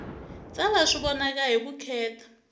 tsala swi vonaka hi vukheta